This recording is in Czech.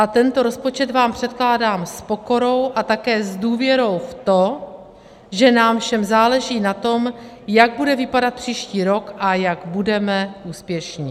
A tento rozpočet vám předkládám s pokorou a také s důvěrou v to, že nám všem záleží na tom, jak bude vypadat příští rok a jak budeme úspěšní.